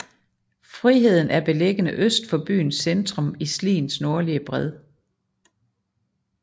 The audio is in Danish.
Friheden er beliggende øst for byens centrum på Sliens nordlige bred